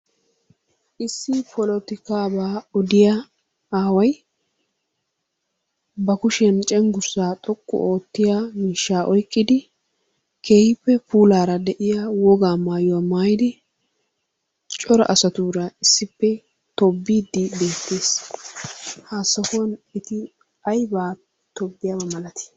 Issi polotikaabaa odiya aaway ba kushiyan cenggurssaa xoqqu oottiyaa miishshaa oyqqidi keehippe puulaara de"iyaa wogaa maayuwa maayidi cora asatuura issippe tobbiiddi beettes. Ha sohuwan eti aybaa tobbiyaba malati?